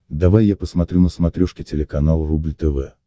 давай я посмотрю на смотрешке телеканал рубль тв